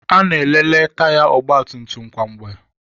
Ana-ekele taya ọgbatumtum kwa mgbe.